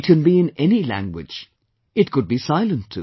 It can be in any language; it could be silent too